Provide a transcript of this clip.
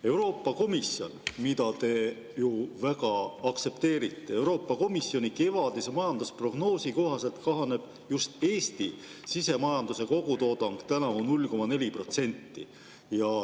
Euroopa Komisjoni, mida te ju väga aktsepteerite, kevadise majandusprognoosi kohaselt kahaneb just Eesti sisemajanduse kogutoodang tänavu 0,4%.